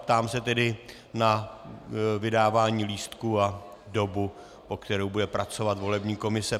Ptám se tedy na vydávání lístků a dobu, po kterou bude pracovat volební komise.